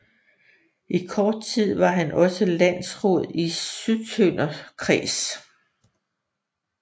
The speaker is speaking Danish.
I kort tid var han også landråd i Sydtønder kreds